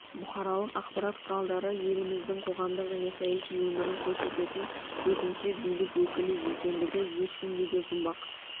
бұқаралық ақпарат құралдары еліміздің қоғамдық және саяси өмірін көрсететін төртінші билік өкілі екендігі ешкімге де жұмбақ